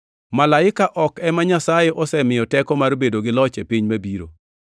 Malaike ok ema Nyasaye osemiyo teko mar bedo gi loch e piny mabiro.